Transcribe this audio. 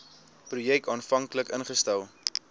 projek aanvanklik ingestel